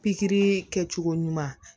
Pikiri kɛcogo ɲuman